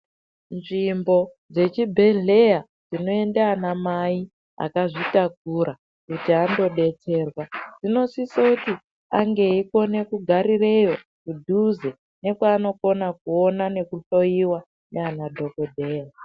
Nzvimbo dzechibhehleya dzinoende anamai akazvitakura kuti andodetserwa dzinosise kuti ange eikona kugarireyo kudhuze nekwaanokona kuona nrkuhloyiwa naana dhokodheya.